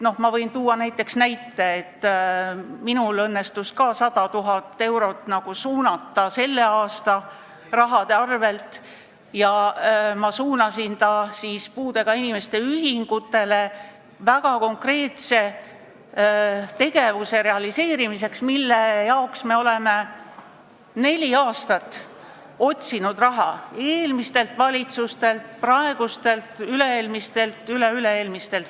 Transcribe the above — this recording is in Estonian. Ma võin tuua näite, et minul õnnestus ka 100 000 eurot suunata selle aasta summast ja ma suunasin selle puudega inimeste ühingutele väga konkreetseks tegevuseks, milleks me oleme juba ammu palunud raha praeguselt valitsuselt ja ka eelmiselt, üle-eelmiselt ja üleüle-eelmiselt valitsuselt.